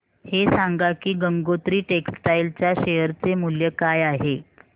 हे सांगा की गंगोत्री टेक्स्टाइल च्या शेअर चे मूल्य काय आहे